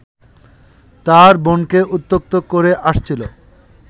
তার বোনকে উত্ত্যক্ত করে আসছিল